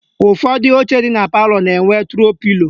Ụfọdụ oche dị na palọ na-enwe tro pilo